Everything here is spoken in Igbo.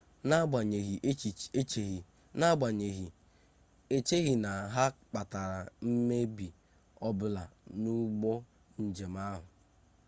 n'agbanyegghị echeghị na ha kpatara mmebi ọ bụla n'ụgbọ njem ahụ